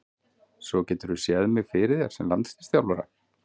Svo geturðu séð mig fyrir þér sem landsliðsþjálfara?